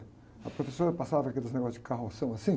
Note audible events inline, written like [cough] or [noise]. A professora passava aqueles negócios de [unintelligible] assim.